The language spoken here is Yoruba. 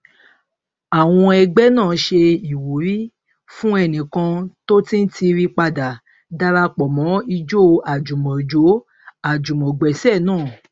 àwọn ẹgbẹ náà ṣe ìwúrí fún ẹnìkan tó ti ń tiiri padà darapo mọ ijó àjùmọjóàjùmọgbẹsẹ naa